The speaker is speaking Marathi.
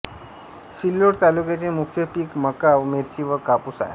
सिल्लोड तालुक्याचे मुख्य पीक मका मिरची व कापूस आहे